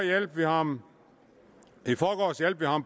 hjalp vi ham